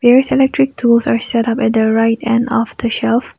the electric tools are setup in the right end of the shelves.